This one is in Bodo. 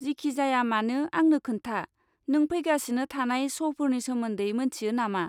जिखिजायामानो, आंनो खोन्था, नों फैगासिनो थानाय श 'फोरनि सोमोन्दै मोनथियो नामा?